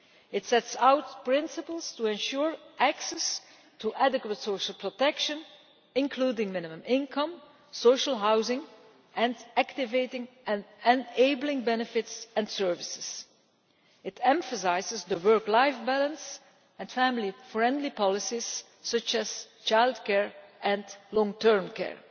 It sets out principles to ensure access to adequate social protection, including minimum income, social housing and activating and enabling benefits and services. It emphasises the work life balance and family friendly policies such as childcare and long-term care.